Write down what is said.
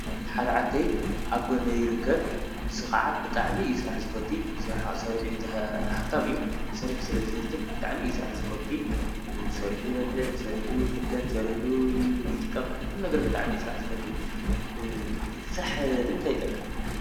ሓደ ዓርከይ ኣብ ጐነይ ይርከብ፣ ንሱ ኸዓ ብጣዕሚ አዩ ስራሕ ዝፈቲ፡፡ ብስራሕ ሰሪሑ ሃብታም እዩ፡፡ ሰሪሑ ስለ ዝህፍትም ብጣዕሚ ስራሕ ዝፈቲ፡፡ ሰሪሑ ይበልዕ፣ ሠሪሑ ዩ ይኽደን ፣ሠሪሑ ይጥቀም ኲሉ ነገር ብጣዕሚ ስራሕ ዝፈቱ፡፡ ስራሕ ንምንታይ ይጠቅም?